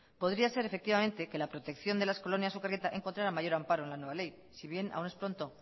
podría ser efectivamente que la protección de las colonias sukarrieta encontrara mayor amparo en la nueva ley si bien aún es pronto